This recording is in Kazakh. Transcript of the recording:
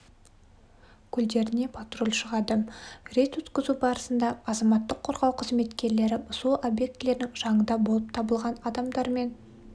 көлдеріне патруль шығады рейд өткізу барысында азаматтық қорғау қызметкерлері су объектілерінің жанында болып табылған адамдармен